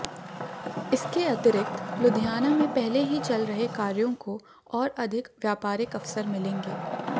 इसके अतिरिक्त लुधियाना में पहले ही चल रहै कार्यो को ओर अधिक व्यापारिक अवसर मिलेगें